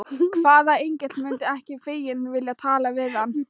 Hvaða engill mundi ekki feginn vilja tala við hann?